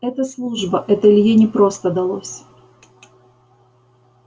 это служба это илье непросто далось